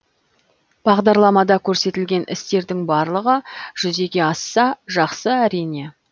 бағдарламада көрсетілген істердің барлығы жүзеге асса жақсы әрине